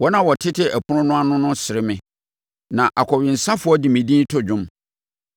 Wɔn a wɔtete ɛpono no ano no sere me, na akɔwensafoɔ de me din to dwom.